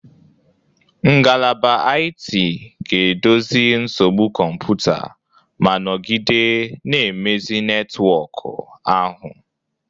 Ngalaba IT ga-edozi nsogbu kọmputa ma nọgide na-emezi netwọkụ ahụ.